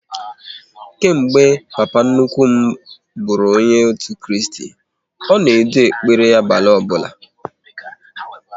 Kemgbe papa nnukwu m bụrụ onye otu Kristi, ọ na-edu n'ekpere abalị ọbụla